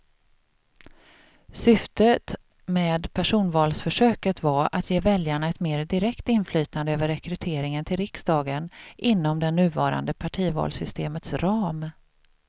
Syftet med personvalsförsöket var att ge väljarna ett mer direkt inflytande över rekryteringen till riksdagen inom det nuvarande partivalssystemets ram.